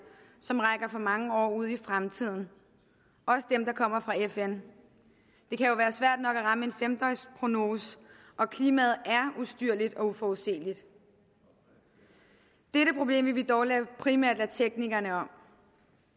som rækker for mange år ud i fremtiden også dem der kommer fra fn det kan jo være svært nok at ramme en fem døgns prognose og klimaet er ustyrligt og uforudsigeligt dette problem vil vi dog primært lade teknikerne om